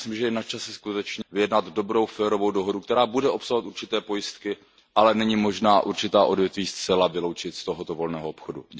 Já myslím, že je načase vyjednat dobrou férovou dohodu, která bude obsahovat určité pojistky, ale není možné určitá odvětví zcela vyloučit z tohoto volného obchodu.